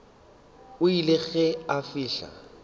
o ile ge a fihla